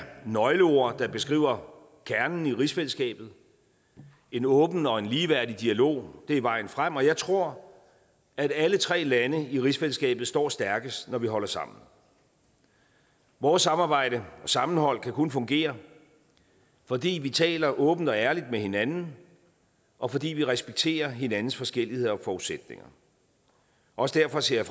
nøgleord der beskriver kernen i rigsfællesskabet en åben og en ligeværdig dialog er vejen frem og jeg tror at alle tre lande i rigsfællesskabet står stærkest når vi holder sammen vores samarbejde og sammenhold kan kun fungere fordi vi taler åbent og ærligt med hinanden og fordi vi respekterer hinandens forskelligheder og forudsætninger også derfor ser